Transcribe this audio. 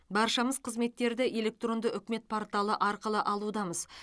баршамыз қызметтерді электронды үкімет порталы арқылы алудамыз